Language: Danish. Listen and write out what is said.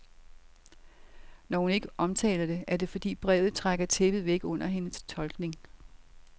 Når hun ikke omtaler det, er det, fordi brevet trækker tæppet væk under hendes tolkning.